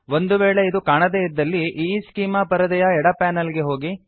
ಒಂದು ವೇಳೆ ಇದು ಕಾಣದೆ ಇದ್ದಲ್ಲಿ ಈಸ್ಚೆಮಾ ಪರದೆಯ ಎಡ ಪಾನಲ್ ಗೆ ಹೋಗಿ